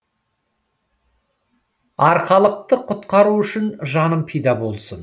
арқалықты құтқару үшін жаным пида болсын